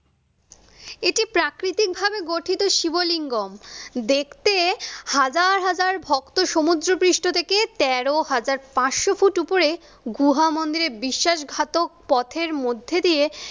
এটি প্রাকৃতিকভাবে গঠিত শিবলিঙ্গম। দেখতে হাজার হাজার ভক্ত সমুদ্রপৃষ্ট থেকে তেরো হাজার পাঁচশো ফুট উপরে গুহা মন্দিরে বিশ্বাসঘাতক পথের মধ্যে দিয়ে